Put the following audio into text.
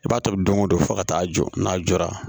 I b'a tobi don o don fo ka taa jɔ n'a jɔra